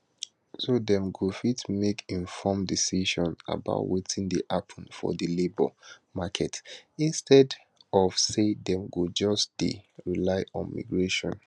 so dem go fit make informed decisions about wetin dey happun for di labour market instead of say dem go just dey rely on migration